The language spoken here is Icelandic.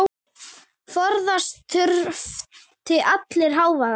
Forðast þurfti allan hávaða.